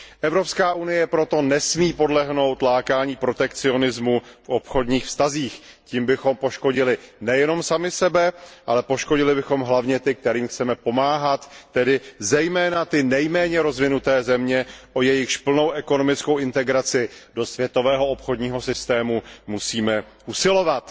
Evropská unie proto nesmí podlehnout lákání protekcionismu v obchodních vztazích, tím bychom poškodili nejenom sami sebe, ale poškodili bychom hlavně ty, kterým chceme pomáhat, tedy zejména nejméně rozvinuté země, o jejichž plnou ekonomickou integraci do světového obchodního systému musíme usilovat.